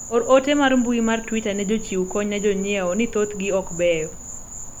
or ote mar mbui mar twita ne jochiw kony ne jonyiewo ni thothgi ok beyo